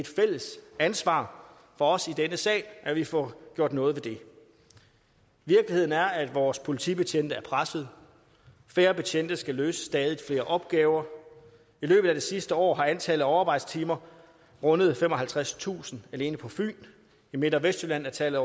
fælles ansvar for os i denne sal at vi får gjort noget ved det virkeligheden er at vores politibetjente er pressede færre betjente skal løse stadig flere opgaver i løbet af det sidste år har antallet af overarbejdstimer rundet femoghalvtredstusind alene på fyn i midt og vestjylland er tallet